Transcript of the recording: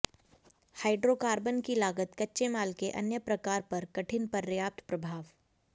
hydrocarbon की लागत कच्चे माल के अन्य प्रकार पर कठिन पर्याप्त प्रभाव